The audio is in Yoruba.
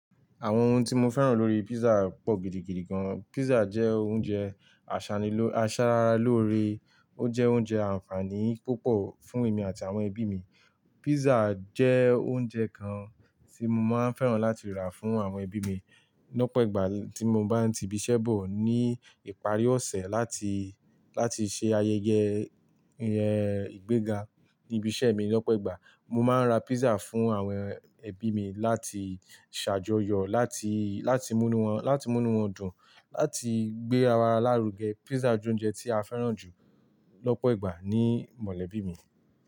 Àwọn ohun tí mo fẹ́ràn lórí pizza pọ̀ gidigidi gan. Pizza jẹ́ oúnjẹ aṣara lóore, ó jẹ́ oúnjẹ ànfàní púpọ̀ fún èmi àti àwọn ẹbí mi. Pizza jẹ́ oúnjẹ kan tí mo máa ń fẹ́ràn láti rà fún àwọn ẹbí mi lọ́pọ̀ ìgbà tí mo bá ń ti ibi iṣẹ́ bọ̀. Ní ìparí ọ̀sẹ̀ láti, láti ṣe ayẹyẹ ìgbéga ní ibi iṣẹ́ mi lọ́pọ̀ ìgbà, mo máa ń ra pizza fún àwọn ẹbí mi láti ṣàjọyọ̀, láti, láti múnu wọn, láti múnu wọn dùn, láti gbé ara lárugẹ. Pizza jẹ́ oúnjẹ tí a fẹ́ràn jù lọ́pọ̀ ìgbà ní mọ̀lẹ́bí mi.